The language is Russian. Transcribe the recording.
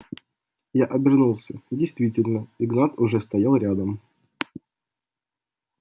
я обернулся действительно игнат уже стоял рядом